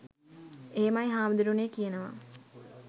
එහෙමයි හාමුදුරුවනේ කියනවා.